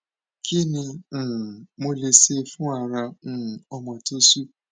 kí ni um mo lè ṣe fún ara um ọmọ tó ṣú